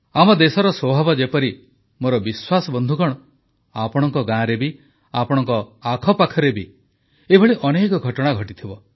ଆମ ଦେଶର ସ୍ୱଭାବ ଯେପରି ମୋର ବିଶ୍ୱାସ ବନ୍ଧୁଗଣ ଆପଣଙ୍କ ଗାଁରେ ବି ଆପଣଙ୍କ ଆଖପାଖରେ ବି ଏଭଳି ଅନେକ ଘଟଣା ଘଟିଥିବ